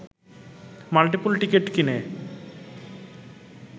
multiple ticket কিনে